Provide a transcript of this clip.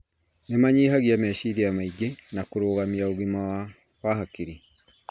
Nĩ manyihagia meciria maingĩ na kũrũgamia ũgima wa hakiri.